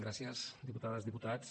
gràcies diputades diputats